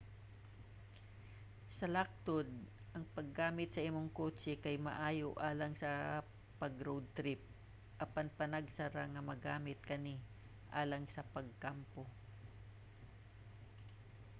sa laktod ang paggamit sa imong kotse kay maayo alang sa pag-road trip apan panagsa ra nga magamit kani alang sa pagkampo